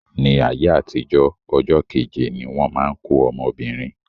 Ní ayé àtijó, ọjọ́ keje ni wọ́n má ń kó ọmọbìnrin.